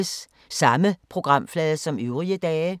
Samme programflade som øvrige dage